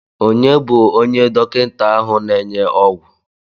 Onye bụ onye dọkịta ahụ na-enye ogwu?